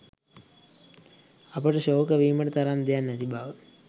අපට ශෝක වීමට තරම් දෙයක් නැති බව